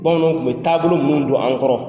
Bamananw tun bɛ taabolo minnu don an kɔrɔ.